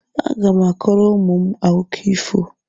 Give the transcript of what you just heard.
Agá m akọrọ ụmụ m akụkọ ifo